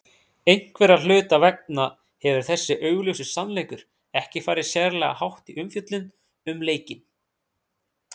Einhverra hluta vegna hefur þessi augljósi sannleikur ekki farið sérlega hátt í umfjöllun um leikinn.